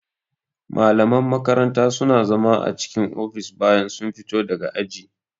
Malaman makaranta suna zama a cikin ofis bayan sun fito daga aji